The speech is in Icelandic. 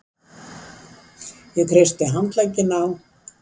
Ég kreisti handlegginn á